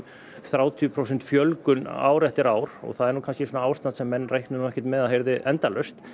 þrjátíu prósent fjölgun ár eftir ár það er ástand sem menn reiknuðu nú ekki með að yrði endalaust